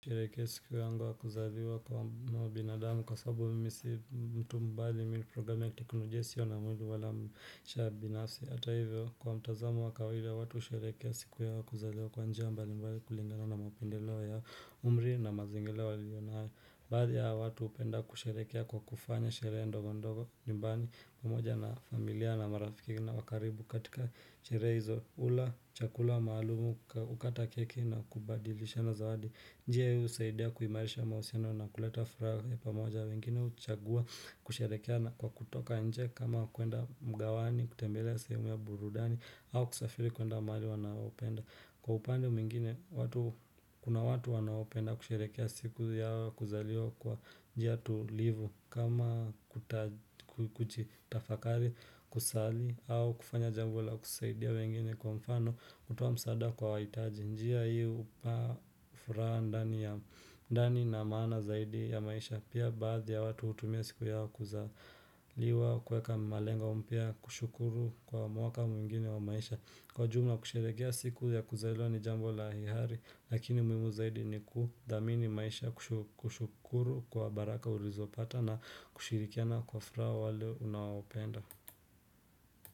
Nasherehekea siku yangu ya kuzaliwa kwa mbinadamu kwa sababu mimi si mtu mbali mini program ya teknolo jesio na mwili wala mshaa binafsi. Ata hivyo kwa mtazamo wakawaida watu hushereke siku yao ya kuzaliwa kwa njia mbali mbali kulingana na mapendeleo ya umri na mazingira wa liyo nayo Baadhi ya watu hupenda kusheherekea kwa kufanya sherehe ndogo ndogo nyumbani pamoja na familia na marafiki na wakaribu katika sherehe hizo ula chakula maalumu ukata keki na kubadilisha na zawadi Njiye usaidia kuimarisha mahusino na kuleta furaha ta pamoja wengine huchagua kusherekea na kwa kutoka nje kama kuenda mgawani, kutembelea seumia burudani au kusafiri kuenda maali wanaopenda Kwa upande mwingine watu kuna watu wanaopenda kusherekea siku yao kuzaliwa kwa njia tulivu kama kuta kujutafakari kusali au kufanya jambula kusaidia wengine kwa mfano kutoa msaada kwa waitaji. Njia hii upa furaha ndani na maana zaidi ya maisha pia baadhi ya watu hutumia siku yao kuzaliwa kweka malengo mpya kushukuru kwa mwaka mwingine wa maisha. Kwa jumla kusherekea siku ya kuzaliwa ni jambo la hiari lakini muimu zaidi ni kudhamini maisha kushu kushukuru kwa baraka ulizopata na kushirikiana kwa furaha wale unaopenda.